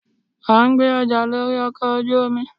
a n gbé ọja lorí ọkọ ojú omí